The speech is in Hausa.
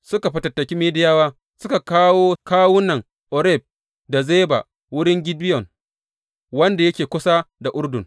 Suka fatattaki Midiyawa suka kawo kawunan Oreb da Zeba wurin Gideyon, wanda yake kusa da Urdun.